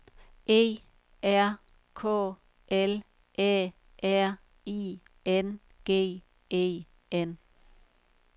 E R K L Æ R I N G E N